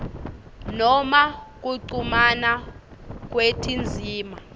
noma kuchumana kwetindzima